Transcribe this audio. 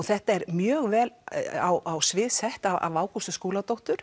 þetta er mjög vel á svið sett af Ágústu Skúladóttur